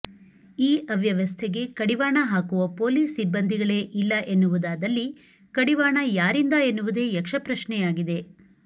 ಈ ಅವ್ಯವಸ್ಥೆಗೆ ಕಡಿ ವಾಣ ಹಾಕುವ ಪೊಲೀಸ್ ಸಿಬ್ಬಂದಿಗಳೇ ಇಲ್ಲ ಎನ್ನುವುದಾದಲ್ಲಿ ಕಡಿವಾಣ ಯಾರಿಂದ ಎನ್ನುವುದೇ ಯಕ್ಷ ಪ್ರಶ್ನೆಯಾಗಿದೆ